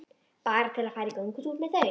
Bara til að fara í göngutúr með þau.